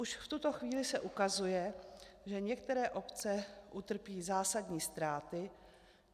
Už v tuto chvíli se ukazuje, že některé obce utrpí zásadní ztráty.